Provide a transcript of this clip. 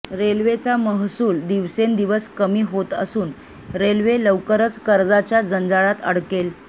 रेल्वेचा महसूल दिवसेंदिवस कमी होत असून रेल्वे लवकरच कर्जाच्या जंजाळात अडकेल